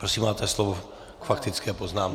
Prosím, máte slovo k faktické poznámce.